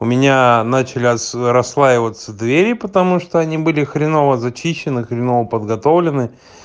у меня начал расслаиваться двери потому что они были хреново зачищены хреново подготовлены